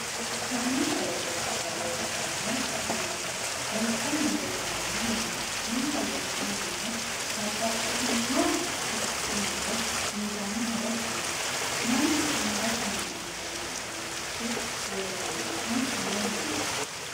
Konni qooxeesira leeltanno maati loosanni leeltanori maati insa loosani noo babbaxitinno addi addi muro uyiitano horo maati manchu angasinni amadde noo uduunichi loosaminohu mayiiniti